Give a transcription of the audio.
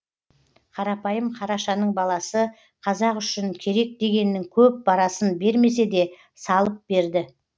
қарапайым қарашаның баласы қазақ үшін керек дегеннің көп парасын бермесе де салып берді